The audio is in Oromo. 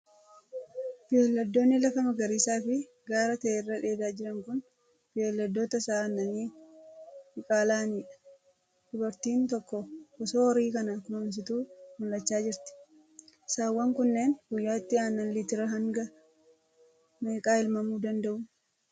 Beeyladoonni lafa magariisa fi gaara ta'e irra dheedaa jiran kun, beeyladoota sa'a aannanii diqaala'aanii dha. Dubartiin tokko, osoo horii kana kunuunsituu mul'achaa jirti. Saawwan kunnneen guyyaatti aannan litira hanga meeqaa elmamuu danda'u?